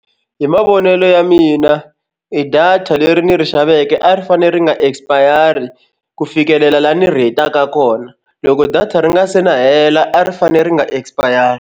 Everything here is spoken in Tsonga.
Hi mavonelo ya mina i data leri ni ri xaveke a ri fanele ri nga expire ku fikelela laha ni ri hetaka kona loko data ri nga se na hela a ri fanele ri nga expire.